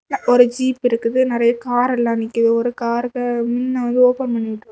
ஒரு ஜீப் இருக்குது நறைய கார் எல்லாம் நிக்குது ஒரு காருக்கு முன் வந்து ஓபன் பண்ணி விட்டிருக்காங்க.